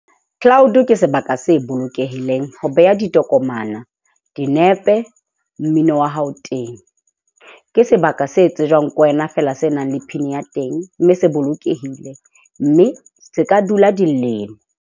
Cloud ke sebaka se bolokehileng ho beha ditokomana, dinepe, mmino wa hao teng. Ke sebaka se tsejwang ke wena fela se nang le pin ya teng, mme se bolokehile. Mme se ka dula dilemo.